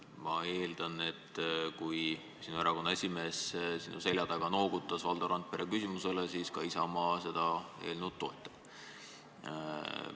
Ma eeldan, et kui sinu erakonna esimees sinu selja taga noogutas Valdo Randpere küsimuse peale, siis ka Isamaa seda eelnõu toetab.